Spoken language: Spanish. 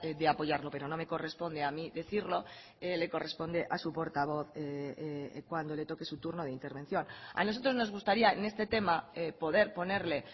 de apoyarlo pero no me corresponde a mí decirlo le corresponde a su portavoz cuando le toque su turno de intervención a nosotros nos gustaría en este tema poder ponerle